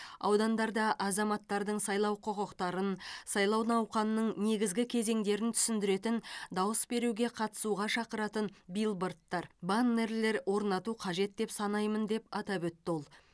аудандарда азаматтардың сайлау құқықтарын сайлау науқанының негізгі кезеңдерін түсіндіретін дауыс беруге қатысуға шақыратын билбордтар баннерлер орнату қажет деп санаймын деп атап өтті ол